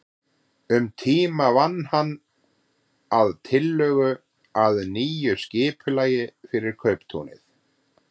Um tíma vann hann að tillögu að nýju skipulagi fyrir kauptúnið.